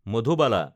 Madhubala